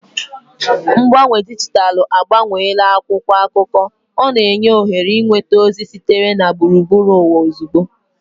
Mgbanwe dijitalụ agbanweela akwụkwọ akụkọ, na-enye ohere ịnweta ozi sitere na gburugburu ụwa ozugbo.